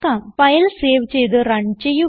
file save ചെയ്ത് run ചെയ്യുക